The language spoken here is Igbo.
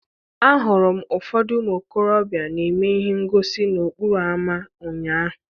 Ahụrụ m ụfọdụ ụmụ okorobịa na-eme ihe ngosi n'okporo ámá ụnyaahụ.